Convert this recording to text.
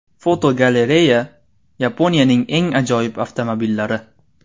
Fotogalereya: Yaponiyaning eng ajoyib avtomobillari.